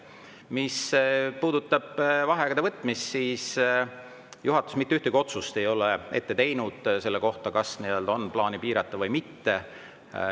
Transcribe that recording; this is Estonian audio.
Mis puudutab vaheaegade võtmist, siis juhatus ei ole ette teinud ühtegi otsust selle kohta, kas on plaanis neid piirata või mitte.